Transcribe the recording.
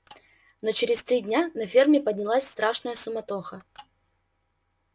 но через три дня на ферме поднялась страшная суматоха